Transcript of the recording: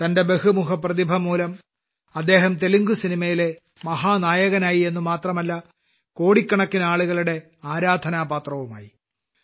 തന്റെ ബഹുമുഖപ്രതിഭമൂലം അദ്ദേഹം തെലുങ്ക് സിനിമയിലെ മഹാനായകനായി എന്നു മാത്രമല്ല കോടിക്കണക്കിന് ആളുകളുടെ ആരാധനാപാത്രവുമായി